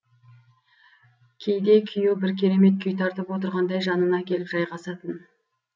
кейде күйеуі бір керемет күй тартып отырғандай жанына келіп жайғасатын